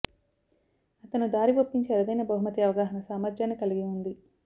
అతను దారి ఒప్పించే అరుదైన బహుమతి అవగాహన సామర్థ్యాన్ని కలిగి ఉంది